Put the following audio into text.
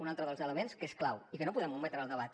un altre dels elements que és clau i que no podem ometre al debat